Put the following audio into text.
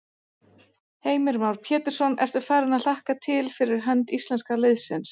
Heimir Már Pétursson: Ertu farin að hlakka til fyrir hönd íslenska liðsins?